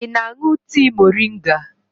Ị na-aṅụ tii moringa?